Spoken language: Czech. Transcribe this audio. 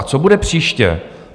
A co bude příště?